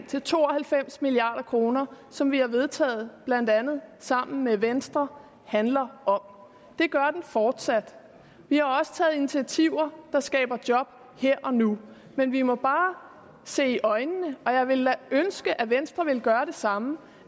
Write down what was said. til to og halvfems milliard kr som vi har vedtaget blandt andet sammen med venstre handler om det gør den fortsat vi har også taget initiativer der skaber job her og nu men vi må bare se i øjnene og jeg ville da ønske at venstre ville gøre det samme